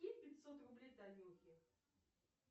скинь пятьсот рублей танюхе